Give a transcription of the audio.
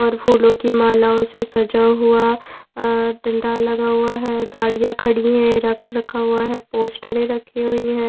और फूलों की मालाओं से सजा हुआ डंडा लगा हुआ है गाड़ियां खड़ी हैं रक्स रखा हुआ है पोस्टरें रखी हुई हैं।